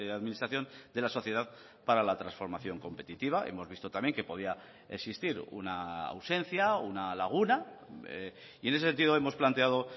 administración de la sociedad para la transformación competitiva hemos visto también que podía existir una ausencia una laguna y en ese sentido hemos planteado